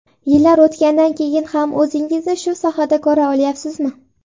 Yillar o‘tgandan keyin ham o‘zingizni shu sohada ko‘ra olyapsizmi?